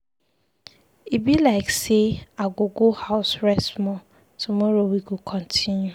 E be like say I go go house rest small, tomorrow we go continue.